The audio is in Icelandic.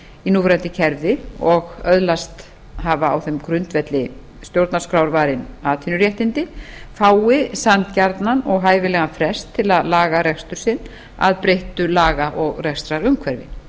í núverandi kerfi og öðlast hafa á þeim grundvelli stjórnarskrárvarin atvinnuréttindi fái sanngjarnan og hæfilegan frest til að laga rekstur sinn að breyttu laga og rekstrarumhverfi